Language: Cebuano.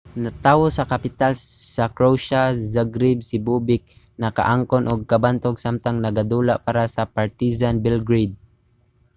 natawo sa kapital sa croatia zagreb si bobek nakaangkon og kabantog samtang nagadula para sa partizan belgrade